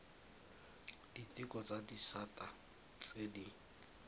diteko tsa disata tse di